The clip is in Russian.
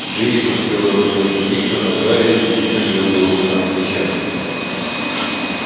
джинни смотрела то на дневник то на гарри и вид у нее был самый несчастный